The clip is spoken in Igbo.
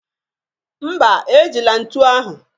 Mba, ejila ntu ahụ